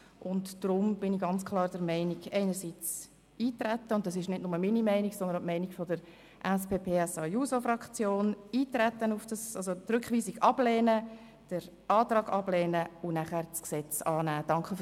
Darum bin ich und auch die SPJUSO-PSA-Fraktion ganz klar der Meinung, dass wir auf die Debatte eintreten, Rückweisung und Antrag ablehnen und nachher das Gesetz annehmen sollten.